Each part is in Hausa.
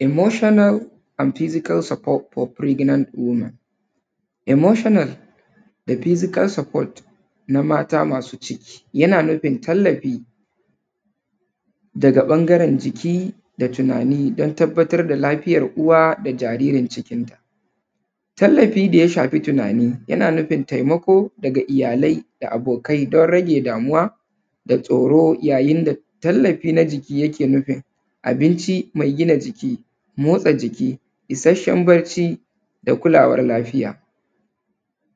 Emotional and physical support for fregnant women emotional da physical support na mata masu ciki yana nufin talalfi daga ɓangaren jiki da tinani don tabbatar da lafiyan uwa da jaririn cikinta. Tallafi daya shafi tinani yana nufin taimako daga abokai da iyalai domin rage damuwa da tsoro yayin da tallafi na jiki yake nufin abninci me gina jiki, motsa jiki, isashsen bacci da kulawar lafiya.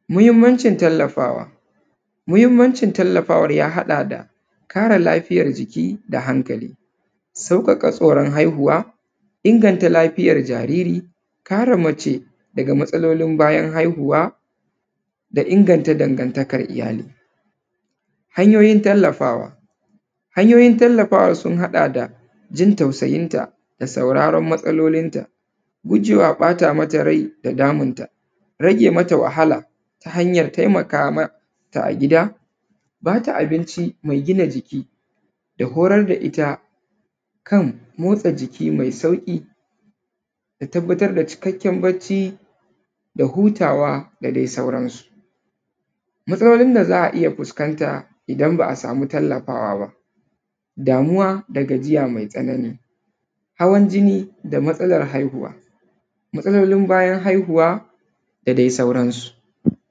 Muhinmancin talafawa, muhinmancin tallafawan ya haɗa da kare lafiyan jiki da hankali, sauƙaka tsoron haihuwa, inganta lafiyan jariri, kare mace daga matsalolin bayan haihuwa da inganta dangantakan iyali. Hanyoyin tallafawa, hanyoyin tallafawa sun haɗa da jin tausayinta da saurarun matsalolinta gujewa ɓata mata rai da damunta, rage mata wahala ta hanyan taimkamata a gida, ba ta abinci me gina jiki da horar da ita kan motsa jiki mai sauƙi da tabbatar da cikakken bacci da hutawa da dai sauransu. Matsalolin da za a iya fuskanta idan ba a samu tallafawa ba, damuwa da gajiya mai tsanani hawan jini da matsalan haihuwa, matsalolin bayan haihuwa da dai sauransu.